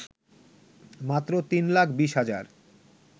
মাত্র ৩ লাখ ২০ হাজার